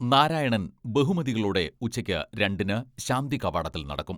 നാരായണൻ ബഹുമതികളോടെ ഉച്ചയ്ക്ക് രണ്ടിന് ശാന്തി കവാടത്തിൽ നടക്കും.